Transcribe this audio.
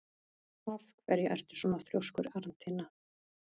Af hverju ertu svona þrjóskur, Arntinna?